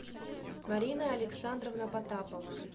марина александровна потапова